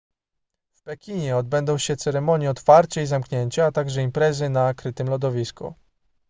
w pekinie odbędą się ceremonie otwarcia i zamknięcia a także imprezy na krytym lodowisku